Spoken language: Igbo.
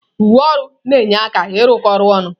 Uwe ọrụ na-enye aka ịrụkọ ọrụ ọnụ.